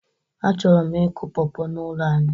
Achọrọ m ịkụ pawpaw n'ụlọ anyị